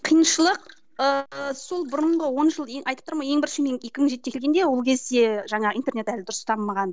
қиыншылық ыыы сол бұрынғы он жыл ең айтып тұрмын ғой ең бірінші мен екі мың жетіде келгенде ол кезде жаңа интернет әлі дұрыс дамымаған